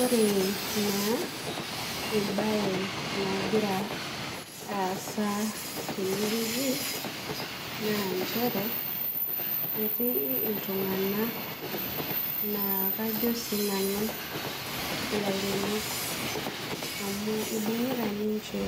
Ore na embae nagira aasa tenewueji na nchere etii ltunganak na kajo sinanu ilaremok amu ibungita ninche